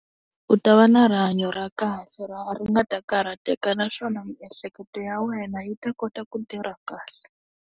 U ta va na rihanyo ra kahle ra ri nga ta karhateka naswona miehleketo ya wena yi ta kota ku tirha kahle.